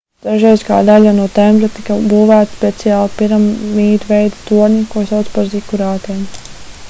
dažreiz kā daļa no tempļa tika būvēti speciāli piramīdveida torņi ko sauca par zikurātiem